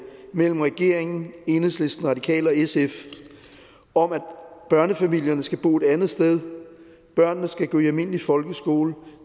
mellem regeringen enhedslisten radikale og sf om at børnefamilierne skal bo et andet sted børnene skal gå i almindelig folkeskole